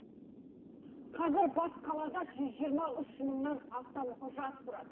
қазір бас қалада жүз жиырма үш мыңнан астам жас тұрады